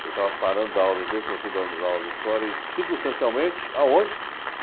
Eu estava parando de dar aulas de inglês, comecei dar aulas de história e, circunstancialmente, aonde?